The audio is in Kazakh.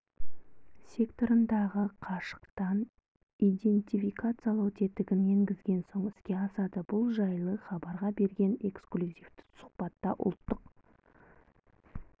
секторындағы қашықтан идентификациялау тетігін енгізген соң іске асады бұл жайлы хабарға берген экслюзивті сұхбатта ұлттық